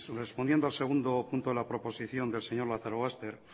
respondiendo al segundo punto de la proposición del señor lazarobaster